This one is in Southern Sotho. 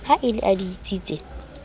ha e le a ditsietsi